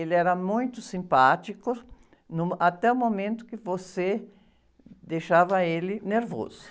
Ele era muito simpático no, até o momento que você deixava ele nervoso.